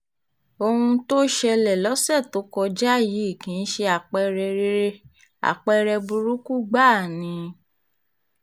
ohun tó ṣẹlẹ̀ lọ́sẹ̀ tó kọjá yìí kì í ṣe àpẹẹrẹ rere àpẹẹrẹ burúkú gbáà ni